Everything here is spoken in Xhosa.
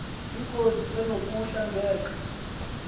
ingozi enokuhla ngeuxa